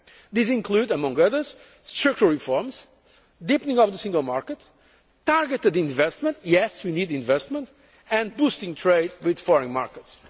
time. These include, among others, structural reforms, deepening of the Single Market, targeted investment yes, we need investment and boosting trade with foreign markets.